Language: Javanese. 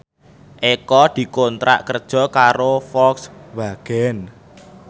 Eko dikontrak kerja karo Volkswagen